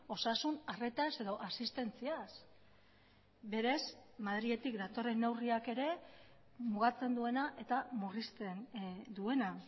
osasun harretaz edo asistentziaz berez madriletik datorren neurriak ere mugatzen duena eta murrizten duena